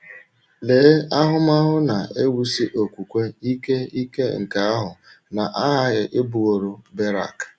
Lee ahụmahụ na - ewusi okwukwe ike ike nke ahụ na - aghaghị ịbụworo Berak!